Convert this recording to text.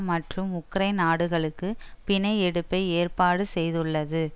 மற்றும் உக்ரைன் நாடுகளுக்கு பிணை எடுப்பை ஏற்பாடு செய்துள்ளது